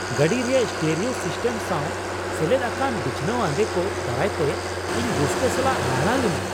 ᱜᱟᱹᱰᱤ ᱨᱮᱭᱟᱜ stereo system ᱥᱟᱶ ᱥᱮᱞᱮᱫ ᱟᱠᱟᱱ ᱵᱤᱪᱷᱱᱟᱹᱣᱟᱱ ᱟᱸᱫᱮ ᱠᱚ ᱫᱟᱨᱟᱭᱛᱮ ᱤᱧ ᱨᱟᱹᱥᱠᱟᱹ ᱥᱟᱞᱟᱜ ᱦᱟᱦᱟᱲᱟᱜ ᱞᱤᱱᱟᱹᱧ ᱾